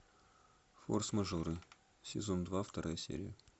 форс мажоры сезон два вторая серия